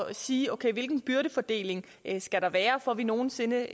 at sige okay hvilken byrdefordeling skal der være for at vi nogen sinde